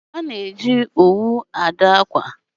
Ha ga-eji owu adụ akwa